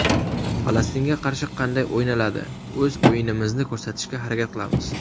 Falastinga qarshi qanday o‘ynaladi O‘z o‘yinimizni ko‘rsatishga harakat qilamiz.